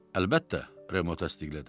Əlbəttə, Remo təsdiqlədi.